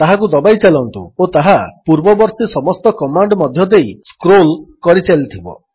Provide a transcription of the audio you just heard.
ତାହାକୁ ଦବାଇ ଚାଲନ୍ତୁ ଓ ତାହା ପୂର୍ବବର୍ତ୍ତୀ ସମସ୍ତ କମାଣ୍ଡ୍ ମଧ୍ୟଦେଇ ସ୍କ୍ରୋଲ୍ କରିଚାଲିଥିବ